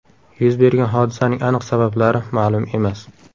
Yuz bergan hodisaning aniq sabablari ma’lum emas.